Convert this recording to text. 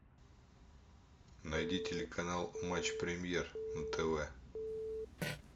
найди телеканал матч премьер на тв